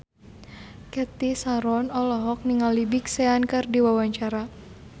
Cathy Sharon olohok ningali Big Sean keur diwawancara